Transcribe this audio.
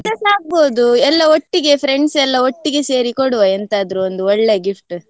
ಎಂತಸ ಆಗ್ಬೋದು ಎಲ್ಲಾ ಒಟ್ಟಿಗೆ friends ಎಲ್ಲಾ ಒಟ್ಟಿಗೆ ಸೇರಿ ಕೊಡುವ ಎಂತಾದ್ರು ಒಂದು ಒಳ್ಳೆ gift .